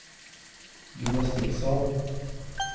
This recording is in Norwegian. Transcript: gymnastikksal